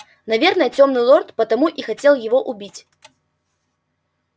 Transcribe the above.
наверное тёмный лорд потому и хотел его убить